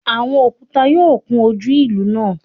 Awọn okuta yoo kun oju ilu naa